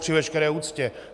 Při veškeré úctě!